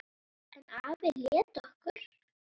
En afi lét okkur